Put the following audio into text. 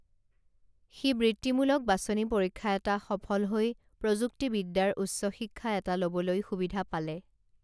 সি বৃত্তিমুলক বাচনি পৰীক্ষা এটা সফল হৈ প্ৰযুক্তিবিদ্যাৰ উচ্চশিক্ষা এটা লবলৈ সুবিধা পালে